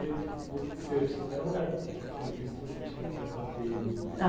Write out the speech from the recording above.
jeito. Era um lugar que, pelo visto, você tinha um certo apego.